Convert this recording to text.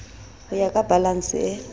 ho ya ka balanse e